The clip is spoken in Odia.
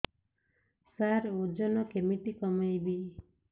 ସାର ଓଜନ କେମିତି କମେଇବି